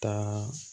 Taa